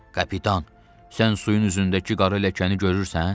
Kapitan, sən suyun üzündəki qara ləkəni görürsən?